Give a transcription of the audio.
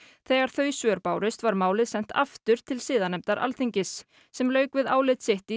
þegar þau svör bárust var málið sent aftur til siðanefndar Alþingis sem lauk við álit sitt í